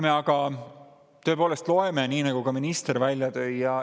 Me tõepoolest loeme, mis ka minister välja tõi.